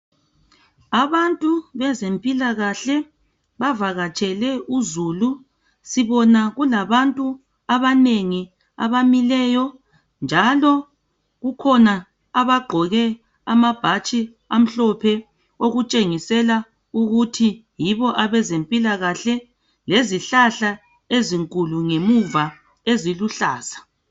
Abantu bezempilakahle bavakatshele uzulu sibona kulabantu abanengi abamileyo njalo bakhona abagqoke amabhatshi amhlophe okutshengisela ukuthi yibo abezempilakahle lezihlahla ezinkulu ngemuva eziluhlaza.